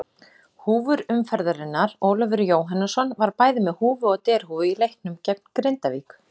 Húfur umferðarinnar: Ólafur Jóhannesson var bæði með húfu og derhúfu í leiknum gegn Grindavík.